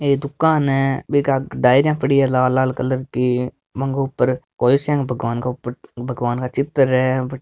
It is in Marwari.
एक दुकान है बीके आगे डायरिया पड़ी है लाल लाल कलर की बांके ऊपर कोई सा के ऊपर भगवान का चित्र है।